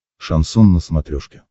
шансон на смотрешке